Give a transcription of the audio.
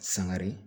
Sangare